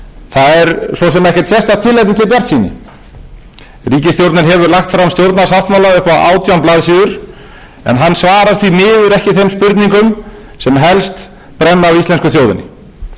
það er svo sem ekkert tilefni til bjartsýni ríkisstjórnin hefur lagt fram stjórnarsáttmála upp á átján blaðsíður en hann svarar því miður ekki þeim spurningum sem helst brenna á íslensku þjóðinni svörin koma heldur ekki